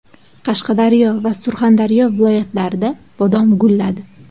Qashqadaryo va Surxondaryo viloyatlarida bodom gulladi.